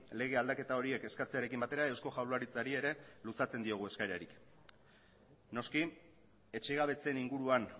lege aldaketa horiek eskatzearekin batera eusko jaurlaritzari ere luzatzen diogu eskaerarik noski etxegabetzeen inguruan